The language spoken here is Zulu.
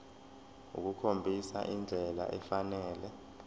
ukukhombisa indlela efanele